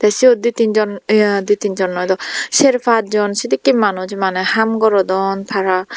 te siyot di tinjon ya di tinjon noi do ser pachjon sedekke manuj maney haam gorodon tara.